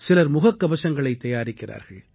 சிலர் முகக்கவசங்களைத் தயாரிக்கிறார்கள்